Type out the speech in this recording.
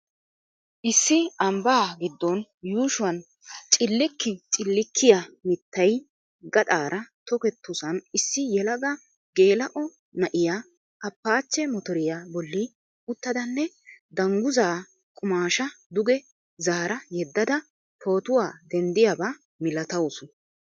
Issi ambba gidon yuushuwan cilkki cilkkiya mittay gaxxaara tokketossan issi yelaga geela'o na'iya Appache motoriya bolli uttidanne dungguzaa qumaashshaa duge zaara yedada pootuwa denddiyaabaa milatawusu.